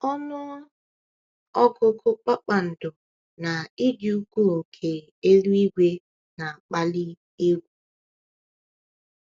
Ọnụ ọgụgụ kpakpando na ịdị ukwuu nke eluigwe na-akpali egwu.